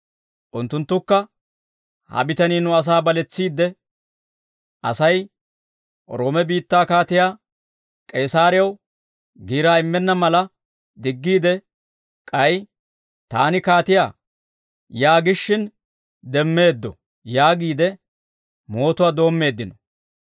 Unttunttukka, «Ha bitanii nu asaa baletsiide, Asay Roome biittaa kaatiyaa K'eesaraw giiraa immenna mala diggiide, k'ay, ‹Taani Kiristtoosa› yaagishin demmeeddo» yaagiide mootuwaa doommeeddino.